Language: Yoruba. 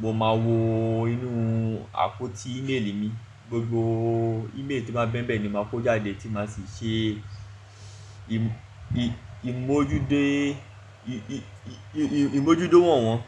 mo máa wo inú àpótí ímeèlì mi, gbogbo ímeèlì tí ó bá n bẹ́ n bẹ́ẹ̀ ni màá kó jáde tí màá sì ṣe ímojútó wọ̀n wọ́n.